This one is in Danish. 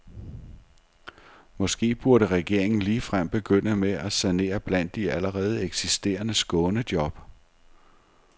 Måske burde regeringen ligefrem begynde med at sanere blandt de allerede eksisterende skånejob.